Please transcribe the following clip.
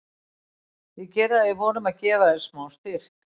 Ég geri það í von um að gefa þér smá styrk.